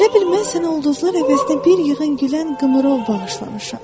Elə bil mən sənə ulduzlar əvəzinə bir yığın gülən qımrov bağışlamışam.